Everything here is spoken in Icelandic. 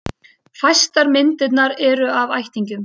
Fæstar myndirnar eru af ættingjum.